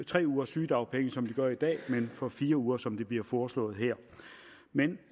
tre ugers sygedagpenge som de gør i dag men for fire uger som det bliver foreslået her men